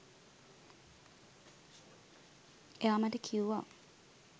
එයා මට කිව්වා